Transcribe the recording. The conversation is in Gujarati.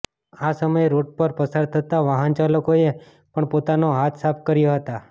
આ સમયે રોડ પર પસાર થતાં વાહનચાલકોએ પણ પોતાના હાથ સાફ કર્યા હતા